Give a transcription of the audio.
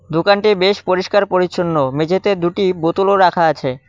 দোকানটি বেশ পরিস্কার পরিচ্ছন্ন মেঝেতে দুটি বোতলও রাখা আছে।